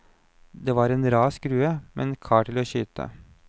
Det var en rar skrue, men kar til å skyte.